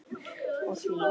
Og hlýða.